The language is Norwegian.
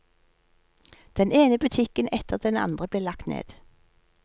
Den ene butikken etter den andre ble lagt ned.